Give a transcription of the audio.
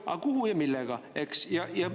Aga kuhu ja millega?